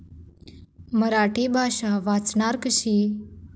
मराठी भाषा 'वाचणार' कशी?